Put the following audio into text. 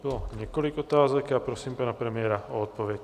Bylo několik otázek a prosím pana premiéra o odpověď.